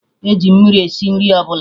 Eji mmiri esi nri ọbụla